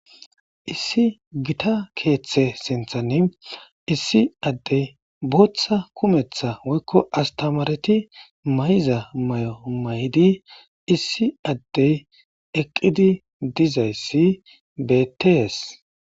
issi gita keeththe sinthani issi addey booththa kumetha woykko astamareti may7iza may7o may7di issi addey eqqidi dizay si betees.